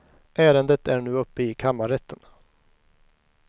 Ärendet är nu uppe i kammarrätten.